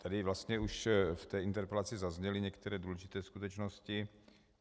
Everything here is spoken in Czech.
Tady vlastně už v té interpelaci zazněly některé důležité skutečnosti.